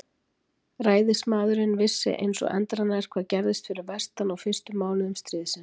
Ræðismaðurinn vissi eins og endranær, hvað gerðist fyrir vestan á fyrstu mánuðum stríðsins.